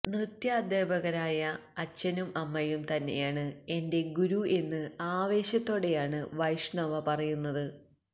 നൃത്താധ്യാപകരായ അച്ഛനും അമ്മയും തന്നെയാണ് എന്റെ ഗുരു എന്ന് ആവേശത്തോടെയാണ് വൈഷ്ണവ പറയുന്നത്